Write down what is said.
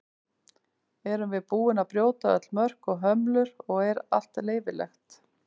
Erum við búin að brjóta öll mörk og hömlur og er allt leyfilegt?